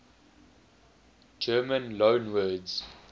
german loanwords